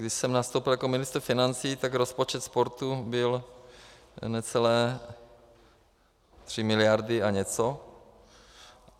Když jsem nastoupil jako ministr financí, tak rozpočet sportu byl necelé 3 miliardy a něco.